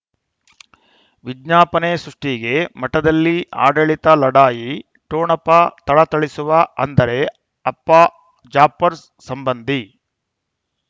ವಿಜ್ಞಾಪನೆ ಸೃಷ್ಟಿಗೆ ಮಠದಲ್ಲಿ ಆಡಳಿತ ಲಢಾಯಿ ಠೊಣಪ ಥಳಥಳಿಸುವ ಅಂದರೆ ಅಪ್ಪ ಜಾಫರ್ ಸಂಬಂಧಿ